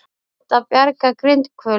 Reynt að bjarga grindhvölum